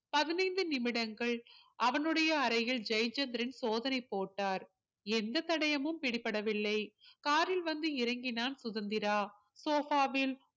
பதினைந்து நிமிடங்கள் அவனுடைய அறையில் ஜெயச்சந்திரன் சோதனை போட்டார் எந்த தடயமும் பிடிபடவில்லை car ல் வந்து இறங்கினான் சுதந்திரா sofa வில்